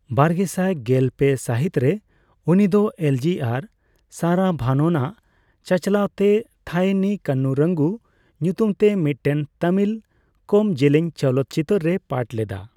ᱵᱟᱨᱜᱮᱥᱟᱭ ᱜᱮᱞᱯᱮ ᱥᱟᱹᱦᱤᱛ ᱨᱮ, ᱩᱱᱤ ᱫᱚ ᱮᱞᱡᱤᱟᱨ ᱥᱟᱨᱟᱵᱷᱟᱱᱚᱱ ᱟᱜ ᱪᱟᱪᱟᱞᱟᱣ ᱛᱮ ᱛᱷᱟᱭᱮ ᱱᱤ ᱠᱟᱱᱱᱩᱨᱟᱝᱜᱩ ᱧᱩᱛᱩᱢ ᱛᱮ ᱢᱤᱫᱴᱮᱱ ᱛᱟᱢᱤᱞ ᱠᱚᱢᱡᱮᱞᱮᱧ ᱪᱚᱞᱚᱛᱪᱤᱛᱟᱹᱨ ᱨᱮᱭ ᱯᱟᱴ ᱞᱮᱫᱟ ᱾